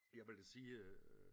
Jeg vil da sige øh